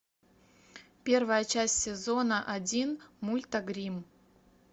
первая часть сезона один мульта гримм